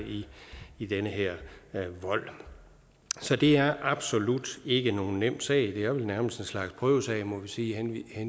i den her vold så det er absolut ikke nogen nem sag det er vel nærmest en slags prøvesag må vi sige